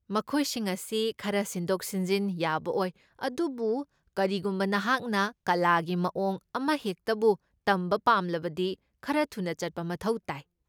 ꯃꯈꯣꯏꯁꯤꯡ ꯑꯁꯤ ꯈꯔ ꯁꯤꯟꯗꯣꯛ ꯁꯤꯟꯖꯤꯟ ꯌꯥꯕ ꯑꯣꯏ ꯑꯗꯨꯕꯨ ꯀꯔꯤꯒꯨꯝꯕ ꯅꯍꯥꯛꯅ ꯀꯂꯥꯒꯤ ꯃꯑꯣꯡ ꯑꯃꯍꯦꯛꯇꯕꯨ ꯇꯝꯕ ꯄꯥꯝꯂꯕꯗꯤ ꯈꯔ ꯊꯨꯅ ꯆꯠꯄ ꯃꯊꯧ ꯇꯥꯏ ꯫